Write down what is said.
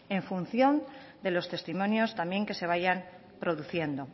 en función de los testimonios también que se vayan produciendo